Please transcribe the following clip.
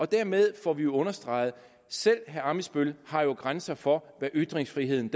dermed får vi jo understreget at selv herre ammitzbøll har grænser for hvad ytringsfriheden